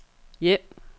hjem